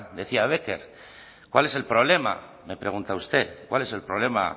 decía becker cuál es el problema me pregunta usted cuál es el problema